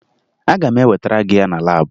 Aga m ewetara gị ya na laabụ